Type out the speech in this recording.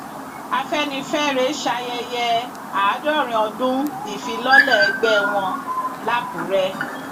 afẹnifẹre ṣayẹyẹ àádọrin ọdún ìfilọlẹ ẹgbẹ wọn làkúrẹ